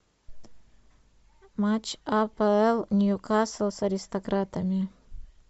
матч апл ньюкасл с аристократами